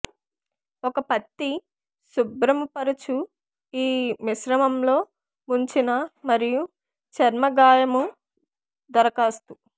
ఒక పత్తి శుభ్రముపరచు ఈ మిశ్రమం లో ముంచిన మరియు చర్మ గాయము దరఖాస్తు